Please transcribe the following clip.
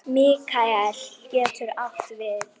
Mikael getur átt við